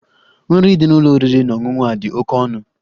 Nri dị n'ụlọ oriri na ọṅụṅụ a dị oke ọnụ.